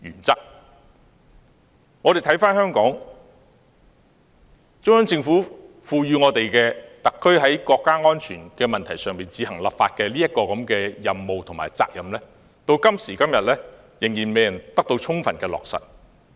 中央政府賦予香港特區在國家安全問題上自行立法的任務和責任，到今時今日仍未得到充分落實。